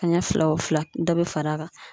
Kaɲɛ fila wo fila dɔ be far'a kan